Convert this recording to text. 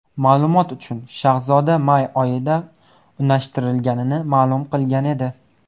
Ma’lumot uchun, Shahzoda may oyida unashtirilganini ma’lum qilgan edi.